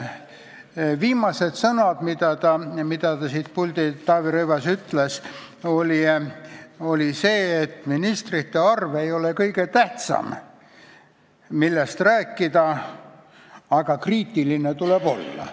Viimased sõnad, mis endine peaminister Taavi Rõivas siit puldist ütles, oli see, et ministrite arv ei ole kõige tähtsam, millest rääkida, aga kriitiline tuleb olla.